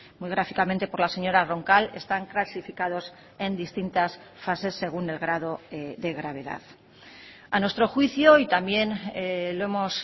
muy gráficamente por la señora roncal están clasificados en distintas fases según el grado de gravedad a nuestro juicio y también lo hemos